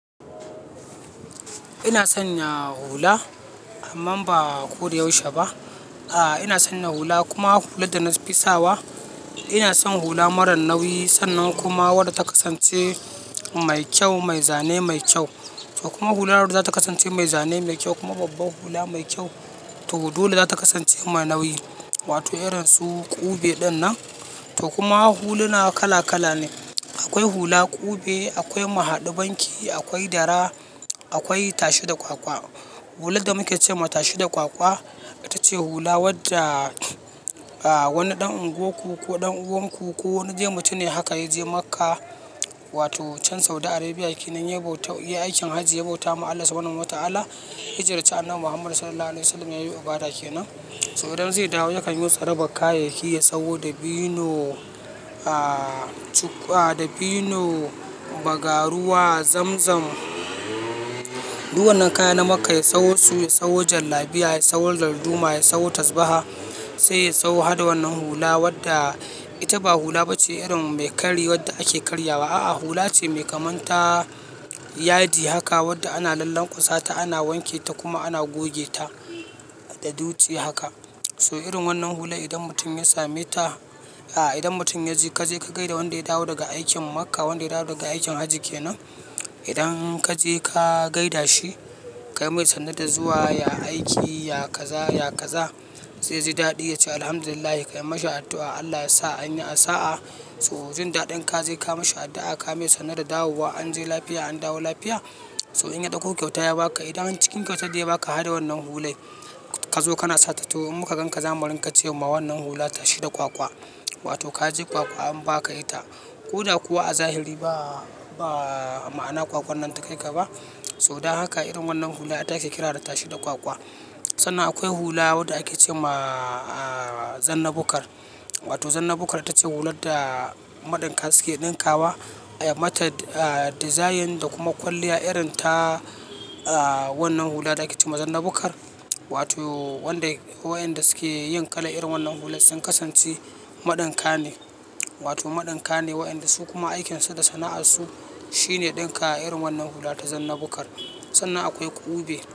Ina sanya hula amman ba ko da yaushe ba. Ahh, ina sanya hula, kuma hular da nafi sawa ina son hula mara nauyi sannan kuma wadda ta kasance mai kyau mai zane mai kyau to kuma hular zata kasance mai zane mai kyau kuma babbar hula mai kyau. To dole zata kasance ma nauyi wato irin su ƙube ɗin nan. To kuma huluna kala kala ne. Akwai hula kube, akwai mu haɗu banki, akwai dara, akwai tashi da ƙwaƙwa hular da muke ce ma tashi da ƙwaƙwa itace hula wadda, ahh wani ɗan unguwarku ko ɗan uwanku ko wani dai mutume dai haka yaje Makkah wato can saudi arebia kenan ya bauta, yayi aikin hajji ya bauta ma Allah subhanahu wata'ala ya ziyarci annabi Muhammad sallallahu alaihi wa sallam ya yo ibada kenan. So idan zai dawo yakan yo tsarabar kayayyaki ya sawo bino, a, cuk, a, dabino, bagaruwa, zamzam. Duk wannan kaya na Makka ya sawo su, ya sawo jallabiya, ya sawo dalduma, ya sawo tasba'a sai ya sawo hada wannan hula wadda ita ba hula ba ce irin mai kari wadda ake karyawa. A'a, hula ce mai kamar ta yadi haka wadda ana lalleƙasa ta ana wanke ta kuma ana gogeta da dutse haka. So irin wannan hula idan mutum ya same ta, a, idan mutum ya je ka je ka gaida wanda ya dawo daga aikin Makka wanda ya dawo daga aikin Hajji kenan. Idan ka je ka gaida shi ka yi mai sannu da zuwa, ya aiki, ya kaza, ya kaza zai ji daɗi ya ce Alhamdulillah kai masa addu'a Allah ya sa an yi a sa'a. So jin daɗin ka je ka ma shi addu'a ka yi mai sannu da dawowa an je lafiya an dawo lafiya. So in ya ɗauko kyauta ya ba ka idan cikin kyautar da ya ba ka haɗa wannan hulai kazo kana sata so in muka ganka zamu ringa cema wannan hula tashi da ƙwaƙwa wato ka je ƙwaƙwa an ba ka ita. Koda kuwa a zahiri ba, ba ma'ana ƙwaƙwan nan ta kai ka ba. So dan haka irin wannan hula ita ake kira da tashi da ƙwaƙwa. Sannan akwai hula wadda ake ce ma, a, zanna bukkar. Wato zanna bukkar ita ce hular da maɗinka suke ɗinkawa. Ai mata, a, dizayin da kuma kwalliya irin ta, a, wannan hula da ake ce ma zanna bukkar. Wato wanda wa'inda suke yin kala irin wannan hular sun kasance maɗinka ne. Wato maɗinka ne wa'inda su kuma aikins u da sana'arsu shine ɗinka irin wannan hula ta zanna bukkar. Sannan akwai ƙube.